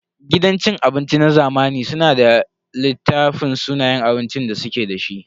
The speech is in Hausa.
Gidan cin abinci na zamani suna da littafin sunayen abincin da suke da shi.